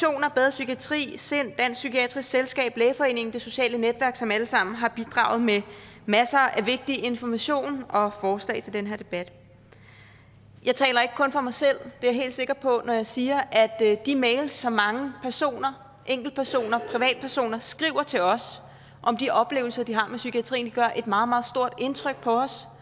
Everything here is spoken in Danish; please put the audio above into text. psykiatri sind dansk psykiatrisk selskab lægeforeningen det sociale netværk som alle sammen har bidraget med masser af vigtig information og forslag til den her debat jeg taler ikke kun for mig selv det er jeg helt sikker på når jeg siger at de mails som mange personer enkeltpersoner privatpersoner skriver til os om de oplevelser de har med psykiatrien gør et meget meget stort indtryk på os